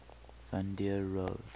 van der rohe